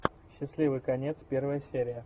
счастливый конец первая серия